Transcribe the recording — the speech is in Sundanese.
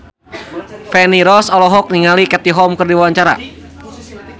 Feni Rose olohok ningali Katie Holmes keur diwawancara